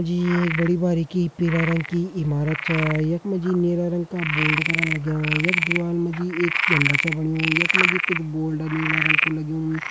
जी एक बड़ी बारीकी पिला रंग की ईमारत चा यखमा जी नीला रंग का बोर्ड करा लाग्यां यख दिवाल मजी एक झंडा च बाणियूं यखमा जी कुछ बोर्ल्ड नीला रंग कु लग्युं।